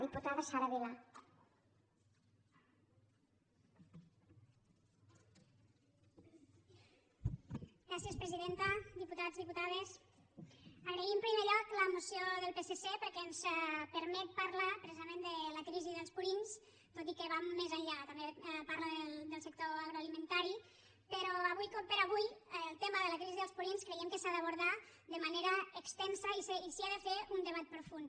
diputats diputades agrair en primer lloc la moció del psc perquè ens permet parlar precisament de la crisi dels purins tot i que va més enllà també parla del sector agroalimentari però avui per avui el tema de la crisi dels purins creiem que s’ha d’abordar de manera extensa i s’hi ha de fer un debat profund